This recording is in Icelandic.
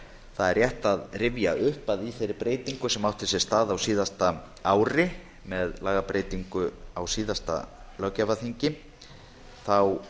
það er rétt að rifja upp að í þeirri breytingu sem átti sér stað á síðasta ári með lagabreytingu á síðasta löggjafarþingi var hinn